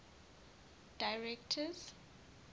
directors